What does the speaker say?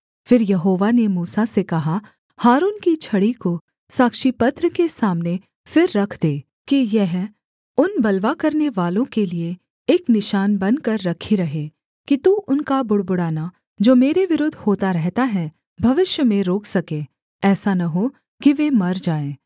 फिर यहोवा ने मूसा से कहा हारून की छड़ी को साक्षीपत्र के सामने फिर रख दे कि यह उन बलवा करनेवालों के लिये एक निशान बनकर रखी रहे कि तू उनका बुड़बुड़ाना जो मेरे विरुद्ध होता रहता है भविष्य में रोक सके ऐसा न हो कि वे मर जाएँ